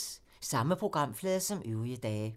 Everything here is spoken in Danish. Samme programflade som øvrige dage